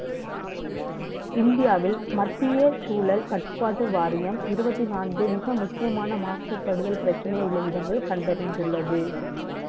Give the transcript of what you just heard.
இந்தியாவில் மத்திய சூழல் கட்டுப்பாட்டு வாரியம் இருபத்தி நான்கு மிக முக்கியமான மாசுபடுதல் பிரச்சனை உள்ள இடங்கள் கண்டறிந்துள்ளது அதில், முதலிடத்தில் Karnataka உள்ளது